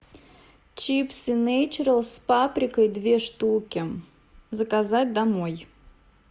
чипсы нейчералс с паприкой две штуки заказать домой